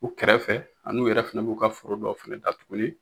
U kɛrɛfɛ an'u yɛrɛ fɛnɛ b'u ka foro dɔw fɛnɛ da tuguni